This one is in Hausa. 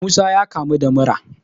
Musa ya kamu da mura